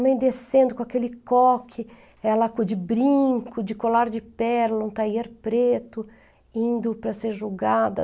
Minha mãe descendo com aquele coque, ela de brinco, de colar de pérola, um taier preto, indo para ser julgada.